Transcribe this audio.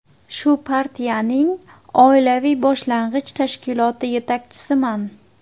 Shu partiyaning oilaviy boshlang‘ich tashkiloti yetakchisiman.